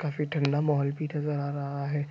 काफी ठंडा माहौल भी नज़र आ रहा है।